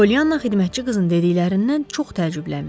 Polyanna xidmətçi qızın dediklərindən çox təəccüblənmişdi.